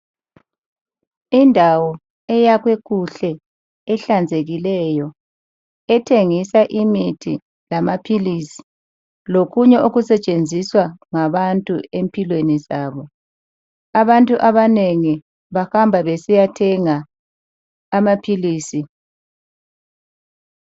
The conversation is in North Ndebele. Indawo eyakhwe kuhle ehlanzekileyo ethengisa imithi lamaphilisi lokunye okusetshenziswa ngabantu empilweni zabo. Abantu abanengi bahamba besiyathenga amaphilisi.